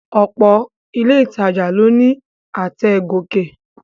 Ọ̀pọ̀ ilé ìtajà ló ní àtẹ̀ gòkè